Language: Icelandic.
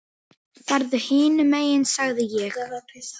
Farðu hinum megin sagði ég.